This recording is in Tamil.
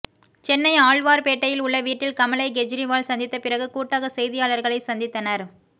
சென்னை ஆழ்வார்பேட்டையில் உள்ள வீட்டில் கமலை கெஜ்ரிவால் சந்தித்த பிறகு கூட்டாக செய்தியாளர்களை சந்தித்தனர்